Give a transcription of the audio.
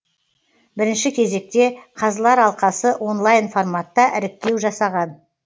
бірінші кезекте қазылар алқасы онлайн форматта іріктеу жасаған